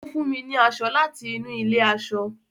ọ fún mí ní aṣọ láti inú ilé aṣọ